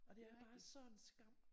Og det er bare sådan en skam